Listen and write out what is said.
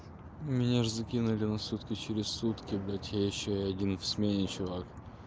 меня ж закинули на сутки через сутки блять я ещё и один в смене чувак